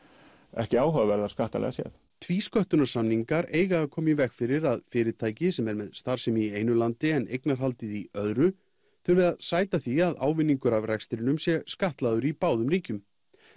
ekki áhugaverðar skattalegar séð tvísköttunarsamningar eiga að koma í veg fyrir að fyrirtæki sem er með starfsemi í einu landi en eignarhaldið í öðru þurfi að sæta því að ávinningur af rekstrinum sé skattlagður í báðum ríkjum